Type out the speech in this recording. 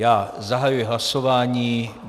Já zahajuji hlasování.